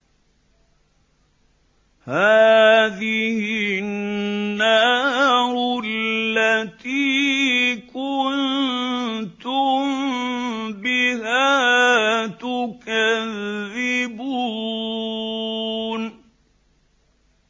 هَٰذِهِ النَّارُ الَّتِي كُنتُم بِهَا تُكَذِّبُونَ